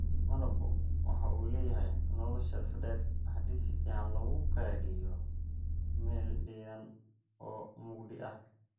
Malabku waxa uu leeyahay nolol shelf dheer haddii si fiican loogu kaydiyo meel diiran oo mugdi ah.